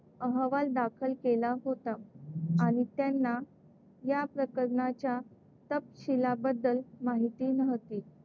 अहवाल दाखल केला होता आणि त्यांना या प्रकरणाच्या तपशीलाबद्दल माहिती नव्हती.